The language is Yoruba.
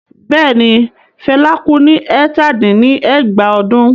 Bẹ́ẹ̀ ni, Fela kú ní ẹ̀tàdín-ní-ẹgbàá ọdún.